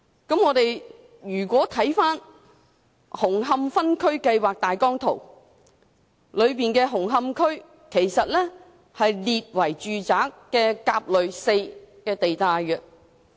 紅磡區的分區計劃大綱圖顯示，紅磡區被列為"住宅 4" 地帶。